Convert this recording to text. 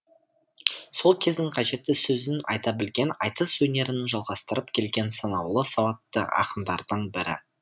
сол кездің қажетті сөзін айта білген айтыс өнерін жалғастырып келген санаулы сауатты ақындардың бірі